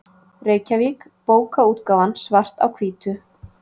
Reykjavík: Bókaútgáfan Svart á hvítu.